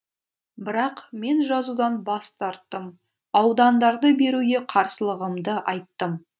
бірақ мен жазудан бас тарттым аудандарды беруге қарсылығымды айттым